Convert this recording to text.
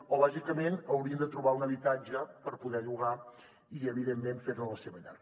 o bàsicament haurien de trobar un habitatge per poder llogar i evidentment fer ne la seva llar